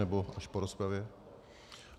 Nebo až po rozpravě?